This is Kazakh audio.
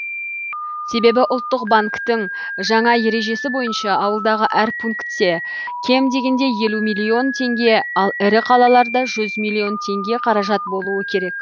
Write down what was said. себебі ұлттық банктің жаңа ережесі бойынша ауылдағы әр пункте кем дегенде елу миллион теңге ал ірі қалаларда жүз миллион теңге қаражат болуы керек